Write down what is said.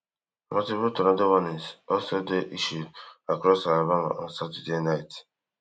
multiple tornado warnings also dey issued across alabama on saturday night